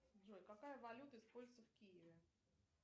джой какая валюта используется в киеве